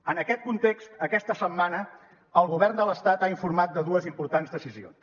en aquest context aquesta setmana el govern de l’estat ha informat de dues importants decisions